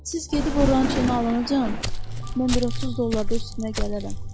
Siz gedib rançonu alana qədər, mən bir 30 dollarda üstünə gələrəm.